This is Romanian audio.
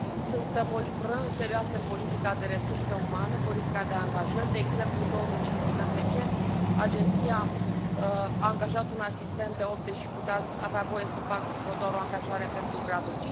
Sunt probleme serioase în politica de resurse umane, politica de angajări, de exemplu, în 2015, Agenția a angajat un asistent de gradul 8, deși avea voie să facă doar o angajare pentru gradul